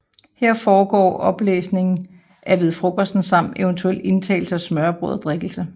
Her indgår oplæsning af Ved Frokosten samt eventuel indtagelse af smørrebrød og drikkelse